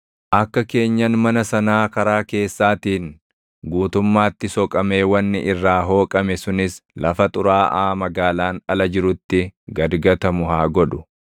Akka keenyan mana sanaa karaa keessaatiin guutummaatti soqamee wanni irraa hooqame sunis lafa xuraaʼaa magaalaan ala jirutti gad gatamu haa godhu.